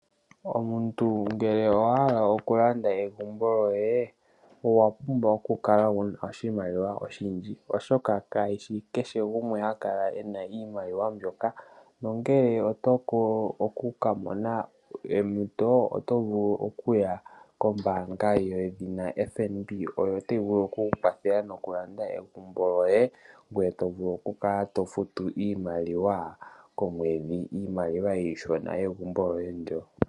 Omuntu ngele owa hala okulanda egumbo lyoye , Owapumbwa okukala wuna oshimaliwa oshindji, Oshoka kayishi kehe gumwe hakala ena iimaliwa mbyoka , Nongele otovulu oku kamona ompito otovulu okuya kombanga mbyoka yedhina FNB, Oyo tayi vulu oku kwathela nokulanda egumbo lyoye ngweye tovulu oku Kala tofutu iimaliwa komwedhi , Iimaliwa ishona yegumbo lyoye ndjoka.